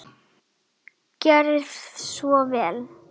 Gerið svo vel!